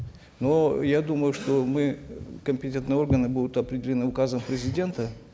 но я думаю что мы компетентные органы будут определены указом президента